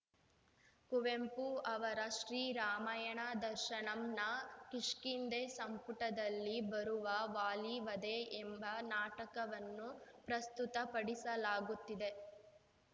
ಕುವೆಂಪು ಅವರ ಶ್ರೀರಾಮಾಯಣ ದರ್ಶನಂನ ಕಿಷ್ಕಿಂಧೆ ಸಂಪುಟದಲ್ಲಿ ಬರುವ ವಾಲೀವಧೆ ಎಂಬ ನಾಟಕವನ್ನೂ ಪ್ರಸ್ತುತ ಪಡಿಸಲಾಗುತ್ತಿದೆ